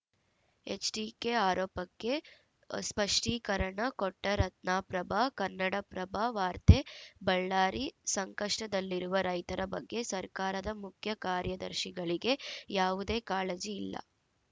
HDK ಆರೋಪಕ್ಕೆ ಸ್ಪಷ್ಟೀಕರಣ ಕೊಟ್ಟರತ್ನಪ್ರಭಾ ಕನ್ನಡಪ್ರಭ ವಾರ್ತೆ ಬಳ್ಳಾರಿ ಸಂಕಷ್ಟದಲ್ಲಿರುವ ರೈತರ ಬಗ್ಗೆ ಸರ್ಕಾರದ ಮುಖ್ಯ ಕಾರ್ಯದರ್ಶಿಗಳಿಗೆ ಯಾವುದೇ ಕಾಳಜಿ ಇಲ್ಲ